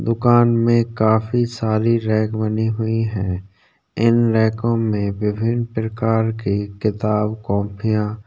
दुकान में काफी सारी रैक बनी हुई हैं इन रैको में विभिन प्रकार की किताब-कोपियां --